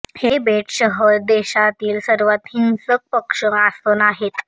हे बेट शहर देशातील सर्वात हिंसक पक्ष आसन आहे